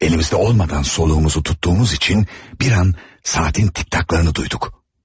Əlimizdə olmadan nəfəsimizi saxladığımız üçün bir an saatın tik-taklarını eşitdik.